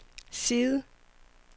side